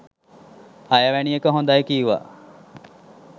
හය වැනි එක හොඳයි කීවා.